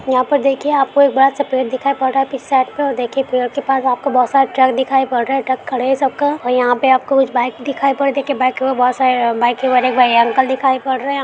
यहाँ पर देखिये आपको एक बड़ा सा पेड़ दिखाई पड़ रहा है पीछे साइड पे और देखिए पेड़ के पास आपको बोहोत सारे ट्रक दिखाई पड़ रहे हैं। ट्रक खड़े हैं सबका और यहाँ पे आपको कुछ बाइक दिखाई पड़ देख के बाइक को बोहोत सारे बाइक हैं और एक अंकल दिखाई पड़ रहे है।